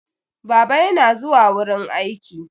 Baba yana zuwa wurin aiki.